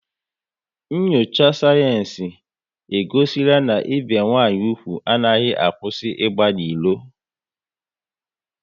Nyocha sayensị e gosila na ibi nwanyị úgwù anaghị akwụsị ịgba n'ilo